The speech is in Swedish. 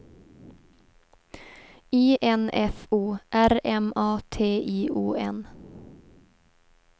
I N F O R M A T I O N